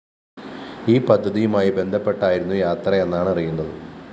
ഈ പദ്ധതിയുമായി ബന്ധപ്പെട്ടായിരുന്നു യാത്രയെന്നാണറിയുന്നത്